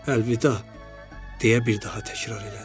Əlvida, deyə bir daha təkrar elədi.